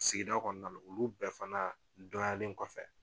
Sigida kɔɔna olu bɛɛ fana dɔnyalen kɔfɛ